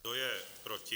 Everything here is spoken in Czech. Kdo je proti?